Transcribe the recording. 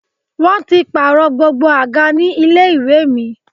Wọ́n ti pààrọ̀ gbogbo àga ní ilé ìwé mi